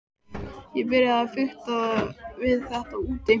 Ég byrjaði að fikta við þetta úti.